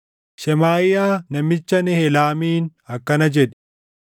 Shemaaʼiyaa namicha Nehelaamiin akkana jedhi: